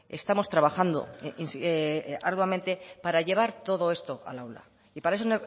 estamos trabajando arduamente para llevar todo esto al aula y para eso